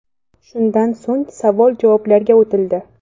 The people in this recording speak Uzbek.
Shundan so‘ng savol-javoblarga o‘tildi.